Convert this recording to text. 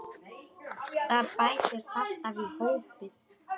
Það bætist alltaf í hópinn.